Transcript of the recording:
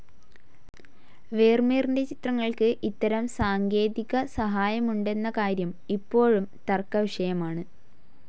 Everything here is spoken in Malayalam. വേർമീറിൻ്റെ ചിത്രങ്ങൾക്ക് ഇത്തരം സാങ്കേതികസഹായമുണ്ടെന്ന കാര്യം ഇപ്പോഴും തർക്കവിഷയമാണ്.